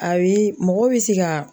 A bɛ mɔgɔ bɛ se ka.